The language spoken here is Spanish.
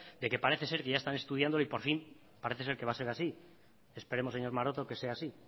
de que parece ser que ya están estudiando y por fin parece ser que va a ser así esperemos señor maroto que sea así